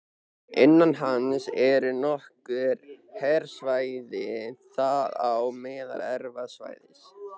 Innan hans eru nokkur hverasvæði, þar á meðal Efra svæðið